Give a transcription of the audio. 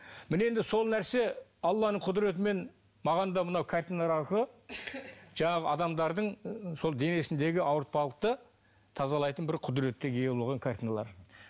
міне енді сол нәрсе алланың құдіретімен маған да мына картиналар арқылы жаңағы адамдардың сол денесіндегі ауыртпалықты тазалайтын бір құдіретке ие болған картиналар